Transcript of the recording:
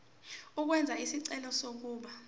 ukwenza isicelo sokuba